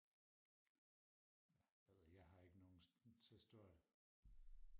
ja jeg ved ikke jeg har ikke nogen så stor